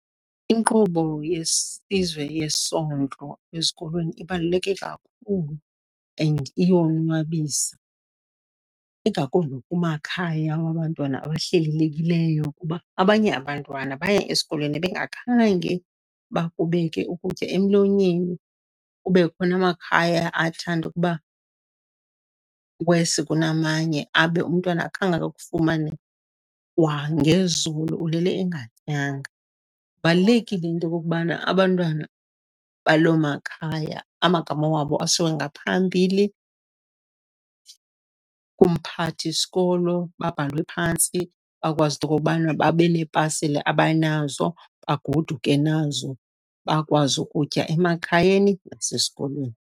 Inkqubo yesizwe yesondlo ezikolweni ibaluleke kakhulu and iyonwabisa, ingakumbi kumakhaya wabantwana abahlelelekileyo, kuba abanye abantwana baya esikolweni bengakhange bakubeke ukutya emlonyeni. Kube khona amakhaya athanda ukuba worse kunamanye, abe umntwana akhange akufumane kwangezolo, ulele engatyanga. Kubalulekile into okokubana abantwana baloo makhaya amagama wabo asiwe ngaphambili kumphathi sikolo, babhalwe phantsi bakwazi into okobana babe neepasile abanazo, bagoduke nazo, bakwazi ukutya emakhayeni nasesikolweni.